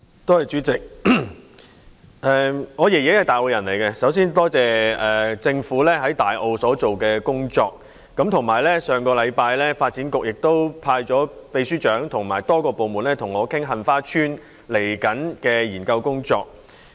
代理主席，我的祖父是大澳居民，首先，多謝政府在大澳所做的工作，以及發展局於上星期派出秘書長和多個部門的官員跟我討論即將就杏花邨所進行的研究工作。